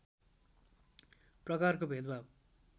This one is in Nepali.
प्रकारको भेदभाव